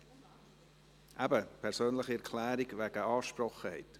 – Wir kommen zu einer persönlichen Erklärung wegen «Angesprochenheit».